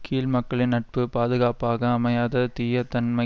கீழ்மக்களின் நட்பு பாதுகாப்பாக அமையாத தீயதன்மை